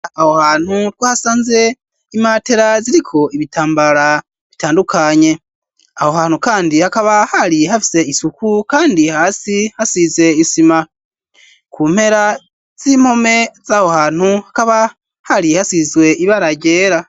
Aho hantu two hasanze imatera ziriko ibitambara bitandukanye aho hantu kandi hakaba hari hafise isuku kandi hasi hasize isima ku mpera z'impome z'aho hantu hakaba hari hasizwe ibara ryera.